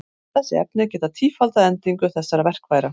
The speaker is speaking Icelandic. Þessi efni geta tífaldað endingu þessara verkfæra.